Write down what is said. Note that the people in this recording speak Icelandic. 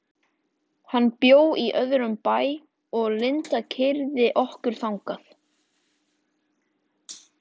Hann bjó í öðrum bæ og Linda keyrði okkur þangað.